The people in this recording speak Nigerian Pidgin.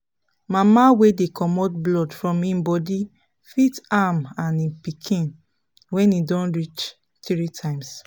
mama wey dey comot blood from him body fit am and him pikin when e don reach three times